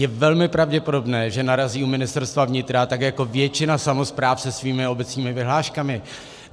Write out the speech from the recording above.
Je velmi pravděpodobné, že narazí u Ministerstva vnitra, tak jako většina samospráv se svými obecními vyhláškami.